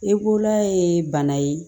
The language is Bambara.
Ekolan ye bana ye